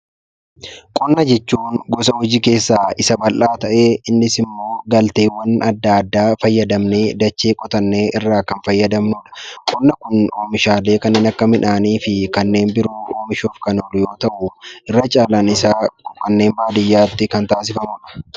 Qonna jechuun gosa hojii keessaa isa bal'aa ta'ee, innis immoo galteewwan adda addaa fayyadamnee dachee qotannee irraa kan fayyadamnu dha. Qonni omishaalee akka midhaanii fi kanneen biroo yoo ta'u, irra caalaan isaa kanneen baadiyyaatti kan taasifamu dha.